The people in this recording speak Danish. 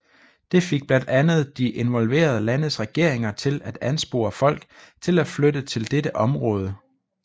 Det fik blandt andet de involverede landes regeringer til at anspore folk til at flytte til dette område